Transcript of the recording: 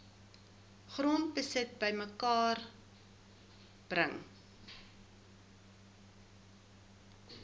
grondbesit bymekaar bring